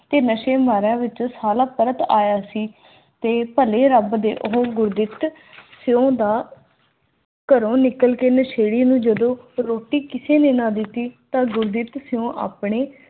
ਤੇ ਨਸ਼ੇ ਮਾਰਿਆਂ ਵਿੱਚ ਸਥਾਲਕ ਪਰਤ ਆਇਆ ਸੀ ਤੇ ਘੋੜੇ ਰੱਬ ਦੇ ਗੁਰਦਿੱਤ ਸਿੰਘ ਦਾ